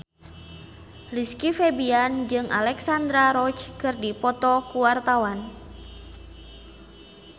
Rizky Febian jeung Alexandra Roach keur dipoto ku wartawan